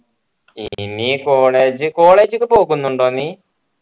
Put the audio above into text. ഇനി college college ഒക്കെ നോക്കുന്നുണ്ടോ നീ